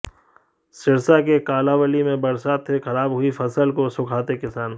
सिरसा के कालांवाली में बरसात से खराब हुई फसल को सुखाते किसान